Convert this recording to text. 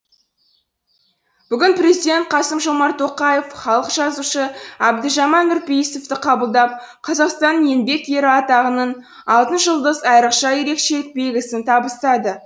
бүгін президент қасым жомарт тоқаев халық жазушы әбдіжәміл нұрпейісовті қабылдап қазақстанның еңбек ері атағының алтын жұлдыз айрықша ерекшелік белгісін табыстады